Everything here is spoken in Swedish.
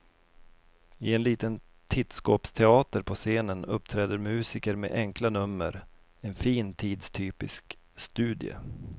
I en liten tittskåpsteater på scenen uppträder musiker med enkla nummer, en fin tidstypisk studie.